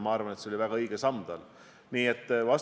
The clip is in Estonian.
Kas haridusasutuste sulgemine oleks proportsionaalne ennetav meede?